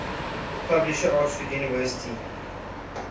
publisher oxford university